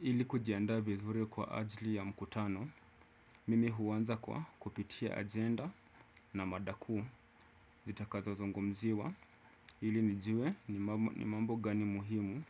Ili kujiandaa vizuri kwa ajli ya mkutano, mimi huanza kwa kupitia agenda na mada kuu zitakazo zungumziwa ili nijue ni mambo gani muhimu